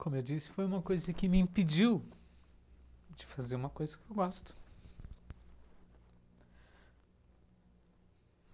Como eu disse, foi uma coisa que me impediu de fazer uma coisa que eu gosto.